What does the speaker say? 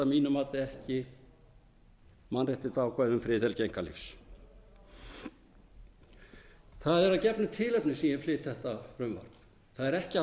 ekki mannréttindaákvæði um friðhelgi einkalífs það er að gefnu tilefni sem ég flyt þetta frumvarp það er ekki að